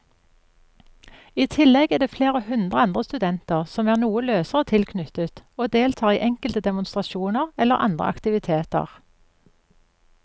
I tillegg er det flere hundre andre studenter som er noe løsere tilknyttet og deltar i enkelte demonstrasjoner eller andre aktiviteter.